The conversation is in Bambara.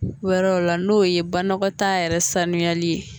Wɛrɛw la, n'o ye banakɔtaa yɛrɛsuyali ye